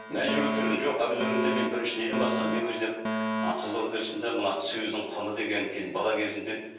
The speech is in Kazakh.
мәжбүрлі түрде жоқ мен бірінші неден бастадым мен өзі ы қызылордада өстім де мына сөздің құны деген бала кезімде